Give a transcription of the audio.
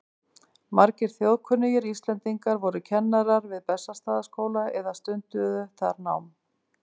Margir þjóðkunnir Íslendingar voru kennarar við Bessastaðaskóla eða stunduðu þar nám.